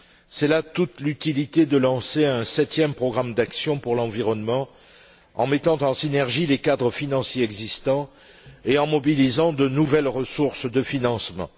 C'est là toute l'utilité de lancer un septième programme d'action pour l'environnement en mettant en synergie les cadres financiers existants et en mobilisant de nouvelles ressources de financement.